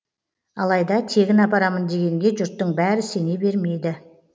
алайда тегін апарамын дегенге жұрттың бәрі сене бермейді